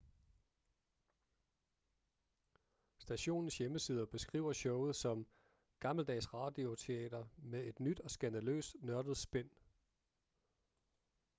stationens hjemmeside beskriver showet som gammeldags radioteater med et nyt og skandaløst nørdet spin